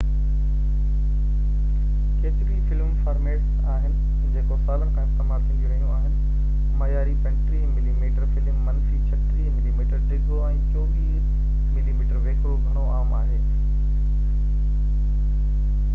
ڪيتريون ئي film formats آهن جيڪو سالن کان استعمال ٿينديون رهيون آهن. معياري 35 ملي ميٽر فلم منفي 36 ملي ميٽر ڊگهو ۽ 24 ملي ميٽر ويڪرو گهڻو عام آهي